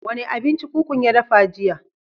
Wa ne abinci kukun ya dafa jiya?